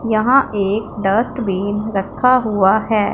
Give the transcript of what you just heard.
यहां एक डस्टबिन रखा हुआ है।